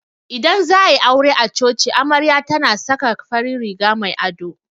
Idan za'a yi aure a coci amarya tana saka farin riga mai ado.